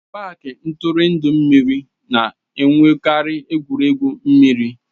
paaki ntụrụndụ mmiri na-enwekarị egwuregwu mmiri.